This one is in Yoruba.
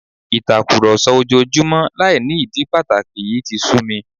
Ìtàkùrọ̀sọ ojoojúmọ́ láì ní ìdí pàtàkì yìí ti sú mi